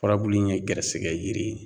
Furabulu in ye gɛrɛsigɛ yiri ye